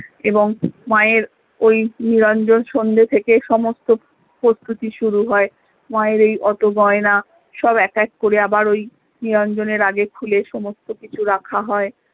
এবং মা এর ওই নিরাঞ্জন সন্ধে থেকে সমস্ত প্রস্তুতি শুরু হয়ে মা এর এই ওতো গয়না সব এক এক করে আবার ওই নিরঞ্জনের আগেই খুলে সমস্ত কিছু রাখা হয়